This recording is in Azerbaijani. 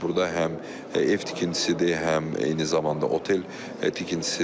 Burda həm ev tikintisidir, həm eyni zamanda otel tikintisidir.